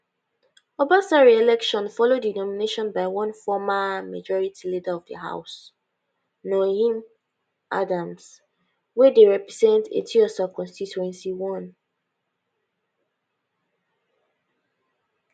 obasa reelection follow di nomination by one former majority leader of di house noheem adams wey dey represents etiosa constituency 1